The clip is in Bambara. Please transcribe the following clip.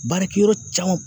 Baarakɛ yɔrɔ camanw